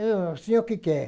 E o senhor o que quer?